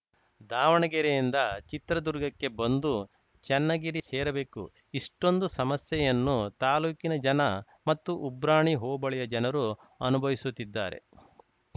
ದಾವಣಗೆರೆಯಿಂದ ಚಿತ್ರದುರ್ಗಕ್ಕೆ ಬಂದು ಚನ್ನಗಿರಿ ಸೇರಬೇಕು ಇಷ್ಟೊಂದು ಸಮಸ್ಯೆಯನ್ನು ತಾಲೂಕಿನ ಜನ ಮತ್ತು ಉಬ್ರಾಣಿ ಹೋಬಳಿಯ ಜನರು ಅನುಭವಿಸುತ್ತಿದ್ದಾರೆ